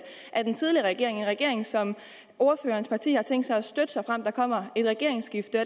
af den tidligere regering en regering som ordførerens parti har tænkt sig at støtte såfremt der kommer et regeringsskifte